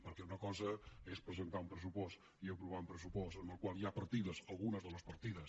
perquè una cosa és presentar un pressupost i aprovar un pressupost en el qual hi ha algunes de les partides